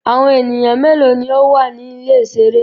Awọn eniyan melo ni o wa ni ile-iṣere?